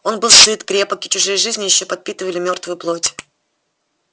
он был сыт крепок и чужие жизни ещё подпитывали мёртвую плоть